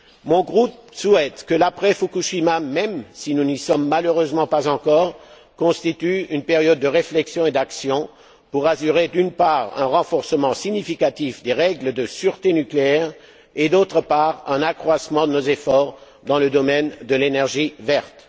Mon groupe souhaite que l'après Fukushima, même si nous n'y sommes malheureusement pas encore, constitue une période de réflexion et d'action pour assurer, d'une part, un renforcement significatif des règles de sûreté nucléaire et, d'autre part, un accroissement de nos efforts dans le domaine de l'énergie verte.